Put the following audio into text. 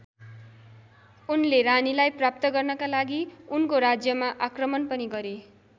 उनले रानीलाई प्राप्त गर्नका लागि उनको राज्यमा आक्रमण पनि गरे।